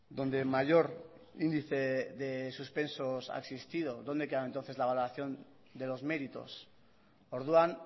donde mayor índice de suspensos ha existido dónde queda entonces la valoración de los méritos orduan